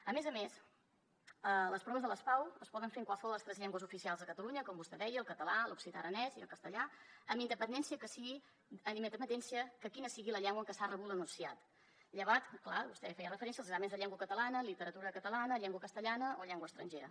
a més a més les pau es poden fer en qualsevol de les tres llengües oficials a catalunya com vostè deia el català l’occità aranès i el castellà amb independència de quina sigui la llengua en què s’ha rebut l’enunciat llevat clar vostè hi feia referència dels exàmens de llengua catalana literatura catalana llengua castellana o llengua estrangera